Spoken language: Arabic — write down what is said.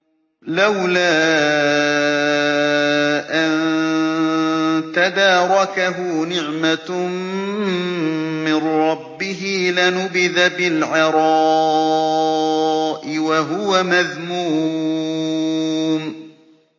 لَّوْلَا أَن تَدَارَكَهُ نِعْمَةٌ مِّن رَّبِّهِ لَنُبِذَ بِالْعَرَاءِ وَهُوَ مَذْمُومٌ